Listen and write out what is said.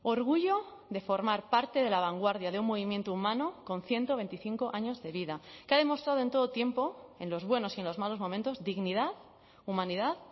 orgullo de formar parte de la vanguardia de un movimiento humano con ciento veinticinco años de vida que ha demostrado en todo tiempo en los buenos y en los malos momentos dignidad humanidad